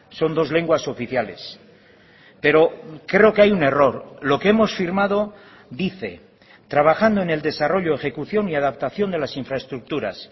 son dos lenguas oficiales pero creo que hay un error lo que hemos firmado dice trabajando en el desarrollo ejecución y adaptación de las infraestructuras